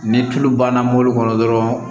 Ni tulu banna mɔbili kɔnɔ dɔrɔn